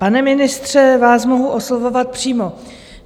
Pane ministře, vás mohu oslovovat přímo.